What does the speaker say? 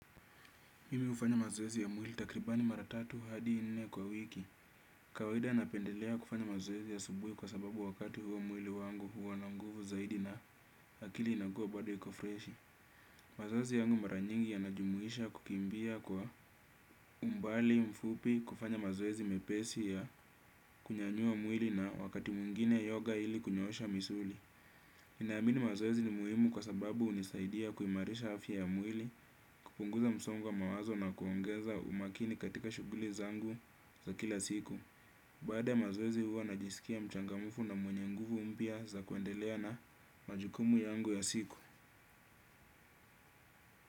Mimi hufanya mazoezi ya mwili takribani mara tatu hadi nne kwa wiki. Kawaida napendelea kufanya mazoezi ya asubuhi kwa sababu wakati huo mwili wangu huwa na nguvu zaidi na akili inakuwa bado iko freshi. Mazoezi yangu mara nyingi yanajumuisha kukimbia kwa umbali mfupi kufanya mazoezi mepesi ya kunyanyua mwili na wakati mwingine yoga ili kunyoosha misuli. Naamini mazoezi ni muhimu kwa sababu hunisaidia kuimarisha afya ya mwili kupunguza msongo wa mawazo na kuongeza umakini katika shughuli zangu za kila siku. Baada ya mazoezi huwa najisikia mchangamufu na mwenye nguvu mpya za kuendelea na majukumu yangu ya siku.